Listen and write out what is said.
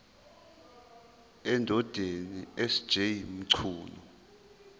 endodeni sj mchunu